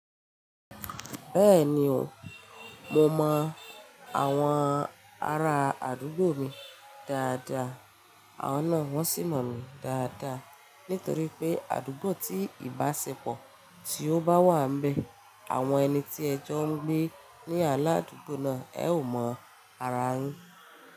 Bẹ́ẹ̀ni o, mo mọ àwọn ara àdúgbò mi dáadáa, àwon ná wọ́n sì mọ̀ mí dáadáa. Nítorí pé àdúgbò tí ìbáṣepọ̀ tí ó bá wà ń bẹ, àwọn ẹni tí ẹjọ́ ń gbé ní aládùúgbò náà ẹ ò mọ ara yin.